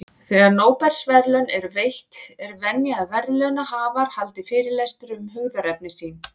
Þegar Nóbelsverðlaun eru veitt, er venja að verðlaunahafar haldi fyrirlestur um hugðarefni sín.